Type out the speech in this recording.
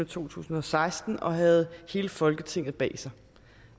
to tusind og seksten og havde hele folketinget bag sig